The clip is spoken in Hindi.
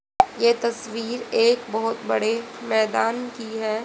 ये तस्वीर एक बहोत बड़े मैदान की है।